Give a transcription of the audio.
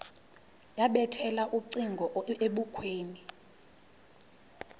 yabethela ucingo ebukhweni